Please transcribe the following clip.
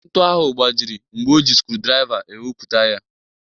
Ntu ahụ gbajiri mgbe o ji skrudraiva ewepụta ya.